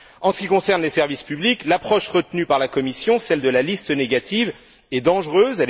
En ce qui concerne les services publics, l'approche retenue par la Commission celle de la liste négative est dangereuse.